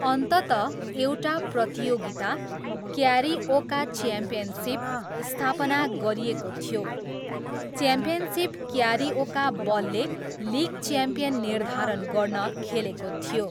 अन्ततः, एउटा प्रतियोगिता, क्यारिओका च्याम्पियनसिप, स्थापना गरिएको थियो, च्याम्पियनसिप क्यारिओका बलले लिग च्याम्पियन निर्धारण गर्न खेलेको थियो।